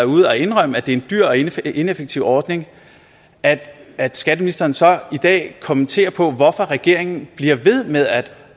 ude at indrømme at det er en dyr og ineffektiv ineffektiv ordning at at skatteministeren så i dag kommenterer på hvorfor regeringen bliver ved med at